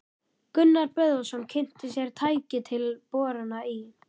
Gunnar Böðvarsson kynnti sér tæki til borana í